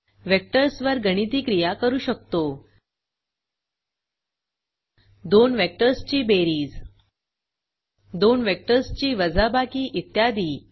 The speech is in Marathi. वेक्टर्स वर गणिती क्रिया करू शकतो दोन वेक्टर्स ची बेरीज दोन वेक्टर्स ची वजाबाकी इत्यादी